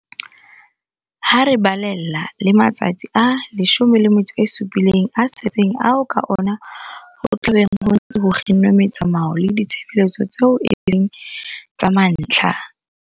Ha re balella le matsatsi a 17 a setseng ao ka ona ho tla beng ho ntse ho kginnwe metsamao le ditshebeletso tseo e seng tsa mantlha.